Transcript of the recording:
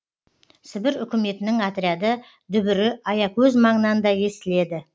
сібір үкіметінің отряды дүбірі аякөз маңынан да естіледі